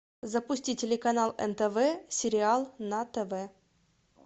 запусти телеканал нтв сериал на тв